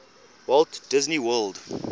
walt disney world